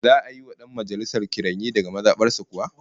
Za'a yi wa dan majalisar kiranye daga maza bar sa kuwa?